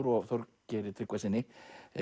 og Þorgeiri Tryggvasyni